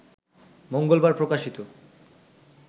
মঙ্গলবার প্রকাশিত